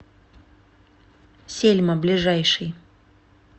сельма ближайший